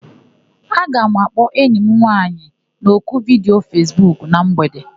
Aga m akpọ enyi m nwaanyị n'oku vidiyo Fesbuku na mgbede.